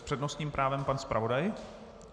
S přednostním právem pan zpravodaj.